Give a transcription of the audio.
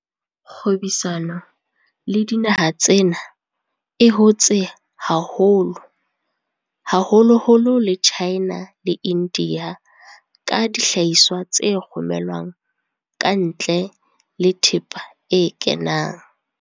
Kgwebisano le dinaha tsena e hotse haholo, haholoholo le China le India ka dihlahiswa tse romelwang kantle le thepa e kenang.